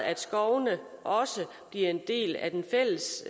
at skovene også bliver en del af den fælles